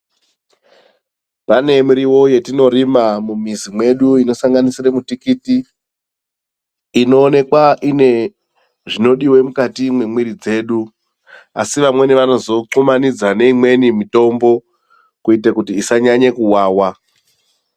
Pane miriwo yatinorima mumizi medu inosanganisira mutikiti ,inoonekwa ine zvinodiwa mukati memwiri dzedu .Asi vamweni vanozokuthwumanidza neimweni mitombo kuite kuti isanyanye kuwawa.